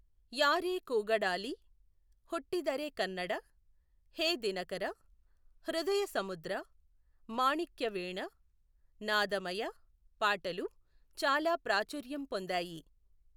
యారే కూగడాలి, హుట్టిదరె కన్నడ, 'హే దినకర', 'హృదయ సముద్ర', 'మాణిక్యవీణ', 'నాదమయ' పాటలు చాలా ప్రాచుర్యం పొందాయి.